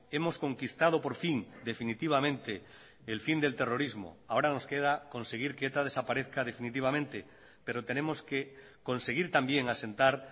hemos conquistado por fin definitivamente el fin del terrorismo ahora nos queda conseguir que eta desaparezca definitivamente pero tenemos que conseguir también asentar